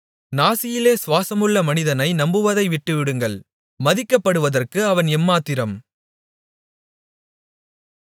நாசியிலே சுவாசமுள்ள மனிதனை நம்புவதை விட்டுவிடுங்கள் மதிக்கப்படுவதற்கு அவன் எம்மாத்திரம்